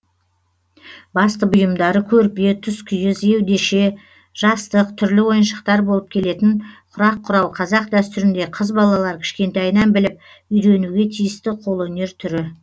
басты бұйымдары көрпе тұскиіз еудеше жастық түрлі ойыншықтар болып келетін құрақ құрау қазақ дәстүрінде қыз балалар кішкентайынан біліп үйренуге тиісті қолөнер түрі